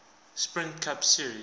sprint cup series